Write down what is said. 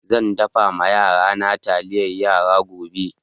Zan dafa ma yarana taliyar yara gobe.